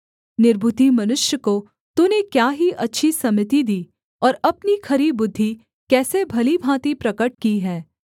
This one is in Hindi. निर्बुद्धि मनुष्य को तूने क्या ही अच्छी सम्मति दी और अपनी खरी बुद्धि कैसी भली भाँति प्रगट की है